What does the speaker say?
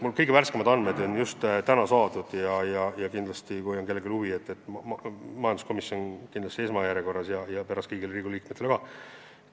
Mul kõige värskemad andmed on just täna saadud ja jagan neid teistelegi, kui on kellelgi huvi – majanduskomisjonile kindlasti esmajärjekorras ja pärast kõigile teistele Riigikogu liikmetele ka.